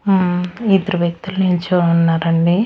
హ్మ్మ్ ఇద్దరు వ్యక్తులు నిల్చొని ఉన్నారండి.